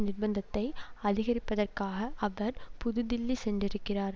நிர்பந்தத்தை அதிகரிப்பதற்காக அவர் புதுதில்லி சென்றிருக்கிறார்